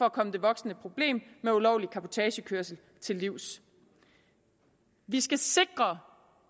at komme det voksende problem med ulovlig cabotagekørsel til livs vi skal sikre